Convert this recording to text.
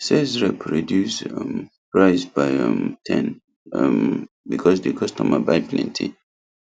sales rep reduce um price by um ten um because the customer buy plenty